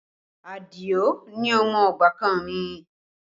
Adio ni ọmọ ọbàkan mi